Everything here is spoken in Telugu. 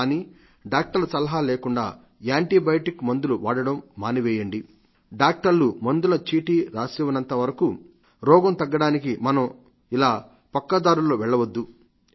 కానీ డాక్టర్లు మందుల చీటి రాసివ్వనంతవరకు రోగం తగ్గడానికి మన ఇలా పక్కదారులలో వెళ్లవద్దు